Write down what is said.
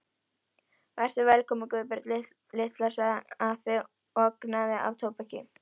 Vertu velkomin Guðbjörg litla, sagði afi og angaði af tóbaki.